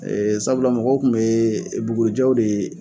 Ɛɛ sabula mɔgɔw tun bɛ bugurijɛ de